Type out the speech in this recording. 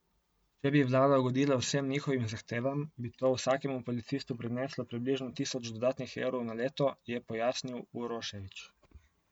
Če bi vlada ugodila vsem njihovim zahtevam, bi to vsakemu policistu prineslo približno tisoč dodatnih evrov na leto, je pojasnil Uroševič.